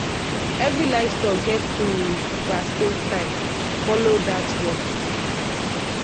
every livestock get im vaccine time—follow dat one.